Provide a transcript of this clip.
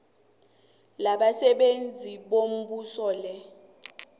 labasebenzi bombuso le